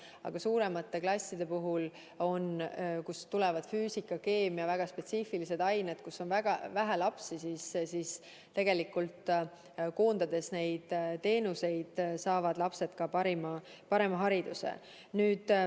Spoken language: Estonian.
Aga vanemate klasside puhul, kui tulevad füüsika ja keemia, väga spetsiifilised ained, saavad väga väikese laste arvuga piirkondadest pärit lapsed nende teenuste koondamise korral parema hariduse.